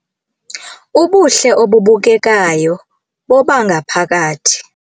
Ubuhle obubukekayo bobangaphakathi